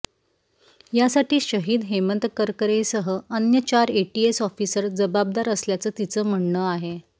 यासाठी शहीद हेमंत करकरेंसह अन्य चार एटीएस ऑफिसर जबाबदार असल्याचं तिचं म्हणणं आहे